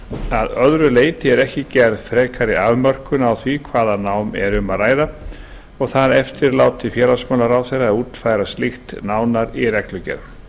að öðru leyti er ekki gerð frekari afmörkun á því hvaða nám er um að ræða og það eftirlátið félagsmálaráðherra að útfæra slíkt nánar í reglugerð